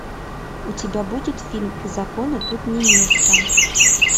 у тебя будет фильм закону тут не место